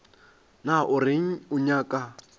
na o reng o nyaka